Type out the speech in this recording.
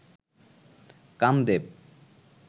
Kamadeva